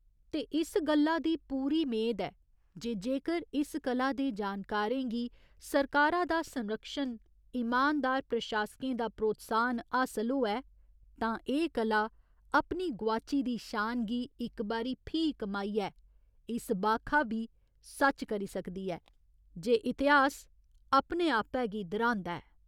ते इस गल्ला दी पूरी मेद ऐ जे जेकर इस कला दे जानकारें गी सरकारा दा संरक्षण, ईमानदार प्रशासकें दा प्रोत्साहन हासल होऐ तां एह् कला अपनी गुआची दी शान गी इक बारी फ्ही कमाइयै इस बाखा बी सच करी सकदी ऐ जे इतिहास अपने आपै गी दर्‌हांदा ऐ।